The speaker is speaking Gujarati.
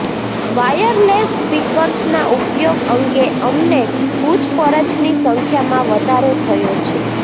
વાયરલેસ સ્પીકર્સના ઉપયોગ અંગે અમને પૂછપરછની સંખ્યામાં વધારો થયો છે